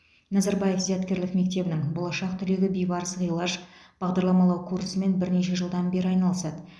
назарбаев зияткерлік мектебінің болашақ түлегі бибарыс ғилаж бағдарламалау курсымен бірнеше жылдан бері айналысады